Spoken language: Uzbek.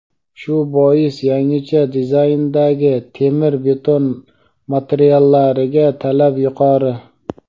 Shu bois yangicha dizayndagi temir-beton materiallariga talab yuqori.